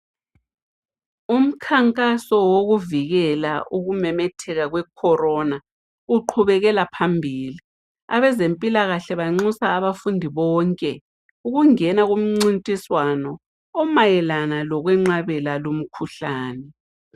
Umkhankaso wokuvikela ukumemetheka kwe corona uqhubelela phambili abezempilakahle banxusa abantu bonke ukungena kumncintiswano omayelana ngokwenqabela lumkhuhlane